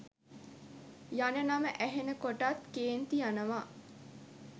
යන නම ඇහෙන කොටත් කේන්ති යනවා.